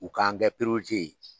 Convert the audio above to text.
U k'an kɛ ye.